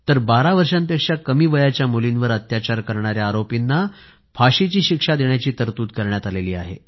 तर 12 वर्षांपेक्षा कमी वयाच्या मुलींवर अत्याचार करणाऱ्या आरोपींना फाशीची शिक्षा देण्याची तरतूद करण्यात आली आहे